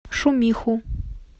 шумиху